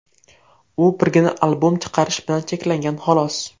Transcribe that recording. U birgina albom chiqarish bilan cheklangan, xolos.